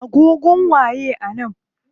Agogon waye a nan?